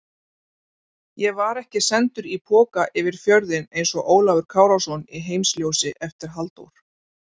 Ég var ekki sendur í poka yfir fjörðinn einsog Ólafur Kárason í Heimsljósi eftir Halldór